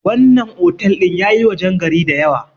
wannan otal din ya yi wajen gari da yawa